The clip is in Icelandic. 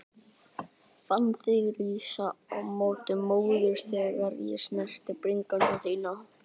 Fann þig rísa á móti móðurinni þegar ég snerti bringu þína.